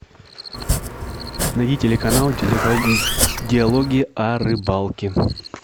найди телеканал диалоги о рыбалке